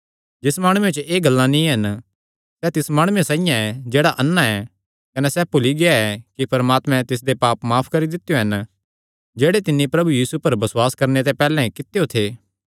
जिस माणुये च एह़ गल्लां नीं हन सैह़ तिस माणुये साइआं ऐ जेह्ड़ा अन्ना ऐ कने सैह़ भुल्ली गिया ऐ कि परमात्मे तिसदे पाप माफ करी दित्यो हन जेह्ड़े तिन्नी प्रभु यीशु पर बसुआस करणे ते पैहल्ले कित्यो थे